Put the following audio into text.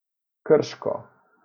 Krško.